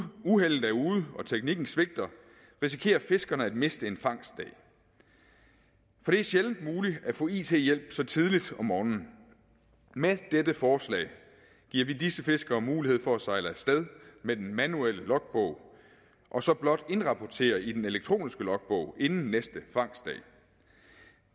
uheldet er ude og teknikken svigter risikerer fiskerne at miste en fangstdag for det er sjældent muligt at få it hjælp så tidligt om morgenen med dette forslag giver vi disse fiskere mulighed for at sejle af sted med den manuelle logbog og så blot indrapportere i den elektroniske logbog inden næste fangstdag